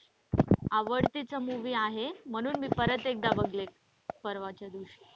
आवड्तेचा movie आहे म्हणून मी परत एकदा बघले परवाच्या दिवशी.